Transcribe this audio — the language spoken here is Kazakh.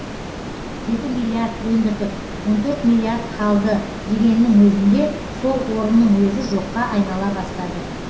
жеті миллиард өндірдік он төрт миллиард қалды дегеннің өзінде сол орынның өзі жоққа айнала бастады